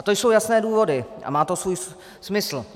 A to jsou jasné důvody a má to svůj smysl.